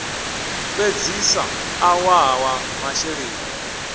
fhedzisa ḽa ṅwaha wa masheleni